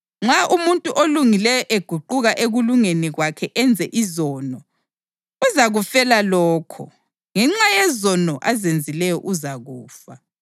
Nxa umuntu olungileyo eguquka ekulungeni kwakhe enze izono, uzakufela lokho; ngenxa yezono azenzileyo uzakufa.